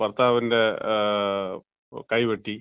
ഭർത്താവിന്‍റെ കൈവെട്ടി.